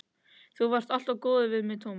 Þú varst alltaf góður við mig, Tómas.